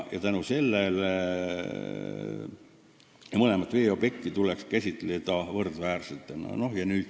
Mõlemat veeobjekti tuleks käsitada võrdväärsena.